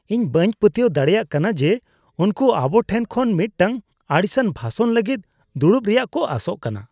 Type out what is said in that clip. ᱤᱧ ᱵᱟᱹᱧ ᱯᱟᱹᱛᱭᱟᱹᱣ ᱫᱟᱲᱮᱭᱟᱜ ᱠᱟᱱᱟ ᱡᱮ ᱩᱱᱠᱩ ᱟᱵᱚᱴᱷᱮᱱ ᱠᱷᱚᱱ ᱢᱤᱫᱴᱟᱝ ᱟᱹᱲᱤᱥᱟᱱ ᱵᱷᱟᱥᱚᱱ ᱞᱟᱹᱜᱤᱫ ᱫᱩᱲᱩᱵ ᱨᱮᱭᱟᱜ ᱠᱚ ᱟᱥᱚᱜ ᱠᱟᱱᱟ ᱾